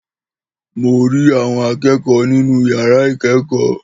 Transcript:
Mò ri àwọn akẹ́kọ̀ọ́ nínú yàrá ikẹ́kọ́